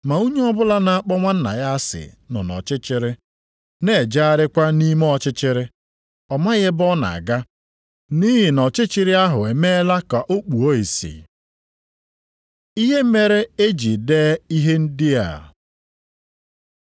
Ma onye ọbụla na-akpọ nwanna ya asị nọ nʼọchịchịrị, na-ejegharịkwa nʼime ọchịchịrị; ọ maghị ebe ọ na-aga nʼihi na ọchịchịrị ahụ emeela ka o kpuo ìsì. Ihe mere e jiri dee ihe ndị a